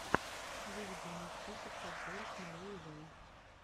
выведи мне список подборок марии вэй